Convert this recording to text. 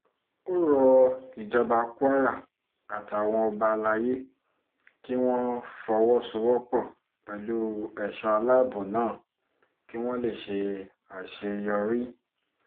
ó rọ ìjọba kwara àtàwọn ọba alayé kí wọ́n fọwọ́sowọ́pọ̀ pẹ̀lú ẹ̀ṣọ́ aláàbọ̀ náà kí wọ́n lè ṣe àṣeyọrí